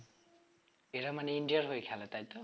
এখন এরা মানে ইন্ডিয়ার হয়ে খেলে তাই তো?